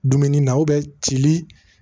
Dumuni na cili